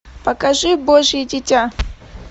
покажи божье дитя